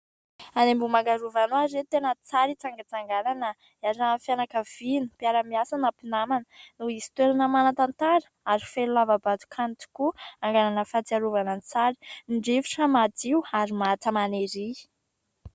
Any Ambohimangarova any hoy aho ry reto tena tsara hitsangatsanganana hiarahan' ny fianakaviana, mpiara-miasa na mpinamana no misy toerana manan-tantara ary feno lava-bato ihany tokoa angalana fahatsiarovana an-tsary, ny rivotra madio ary maha tamana ery.